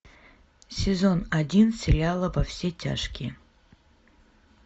сезон один сериала во все тяжкие